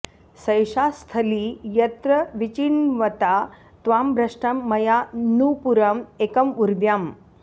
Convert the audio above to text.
सैषा स्थली यत्र विचिन्वता त्वां भ्रष्टं मया नूपुरं एकं उर्व्यां